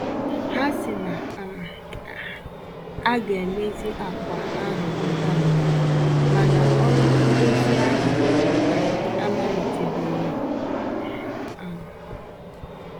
Ha sị na um a um a ga-emezi akwa ahụ ngwa ngwa, ma na ọrụ ndozi ahụ um amalite-beghi um